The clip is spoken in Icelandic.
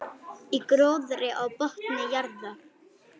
Í gróðri á botni jarðar.